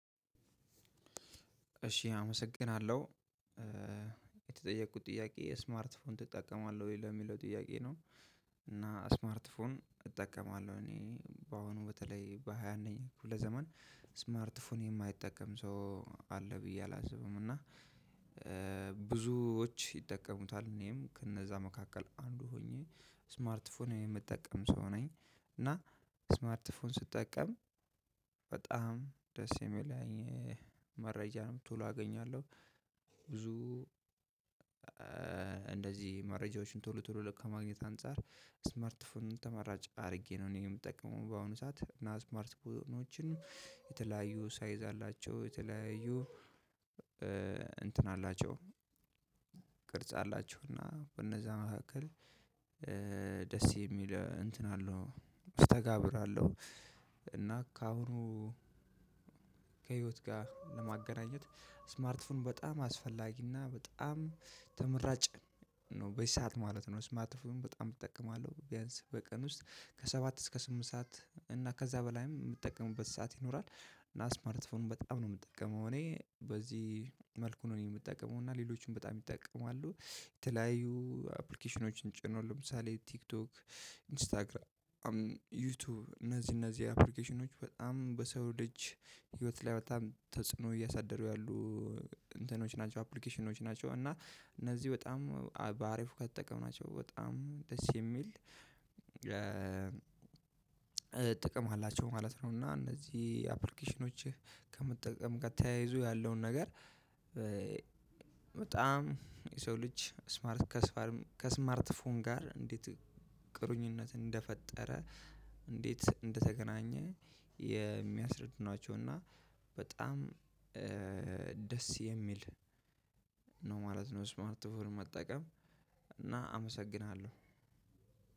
እሺ አመሰግናለሁ የተጠየቅኩት ጥያቄ የስማርት ፎን ትጠቀማለህ ወይ ለሚለው ጥያቄ ነው? እና ስማርት ፎን እጠቀማለሁ እኔ በአሁኑ በተለይ በሃያ አንደኛ ክፍለ ዘመን ስማርት ፎን የማይጠቀም ሰው አለ ብዬ አላስብም። እና ብዙዎች ይጠቀሙታል እኔም ከእነዛ መካከል አንዱ ሆኜ ስማርት ፎን የምጠቀም ሰው ነኝ። እና ስማርት ፎን ስጠቀም በጣም ደስ የሚለኝ መረጃንም ቶሎ አገኛለሁ። ብዙ እንደዚህ መረጃዎችን ቶሎ ቶሎ ከማግኘት አንፃር ስማርት ፎን ተመራጭ አድርጌ ነው። እኔ የምጠቀመው በአሁኑ ሰዓት እና ስማርት ፎኖችን የተለያዩ ሳይዝ አላቸው። የተለያዩ እንትን አላቸው ቅርጽ አላቸው እና በእነዛ መካከል ደስ የሚል እንትን አለው መስተጋብር አለው። እና ከአሁኑ ከህይወት ጋር ለማገናኘት ስማርት ፎን በጣም አስፈላጊና በጣም ተመራጭ ነው በዚ ሰዓት ማለት ነው። ስማርት ፎን በጣም እጠቀማለሁ ቢያንስ በቀን ውስጥ ከሰባት እስከ ስምንት ሰዓት እና ከዛ በላይም የምጠቀምበት ሰዓት ይኖራል። እና ስማርት ፎን በጣም ነው የምጠቀመው እኔ በዚህ መልኩ ነው እኔ የምጠቀመው እና ሌሎቹም በጣም ይጠቀማሉ። የተለያዩ አፕሊኬሽኖችን ጭኖ ለምሳሌ ቲክቶክ ኢንስታግራም ዩቲዩብ እነዚህ እነዚህ አፕሊኬሽኖች በጣም በሰው ልጅ ህይወት ላይ በጣም ተጽዕኖ እያሳደሩ ያሉ እንትኖች ናቸው። አፕሊኬሽኖች ናቸው እና እነዚህ በጣም በአሪፉ ከተጠቀምናቸው በጣም ደስ የሚል ጥቅም አላቸው ማለት ነው። እና እነዚህ አፕሊኬሽኖችህ ከመጠቀም ጋር ተያይዞ ያለውን ነገር በጣም የሰው ልጅ ስማርት ከስማርት ከስማርት ፎን ጋር እንዴት ቁርኝነት እንደፈጠረ እንዴት እንደተገናኘ የሚያስረዱ ናቸው። እና በጣም ደስ የሚል ነው ማለት ነው። ስማርት ፎን መጠቀም እና አመሰግናለሁ።